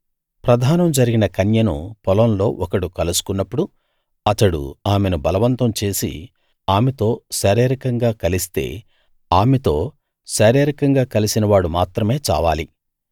ప్రదానం జరిగిన కన్యను పొలంలో ఒకడు కలుసుకున్నప్పుడు అతడు ఆమెను బలవంతం చేసి ఆమెతో శారీరకంగా కలిస్తే ఆమెతో శారీరకంగా కలిసిన వాడు మాత్రమే చావాలి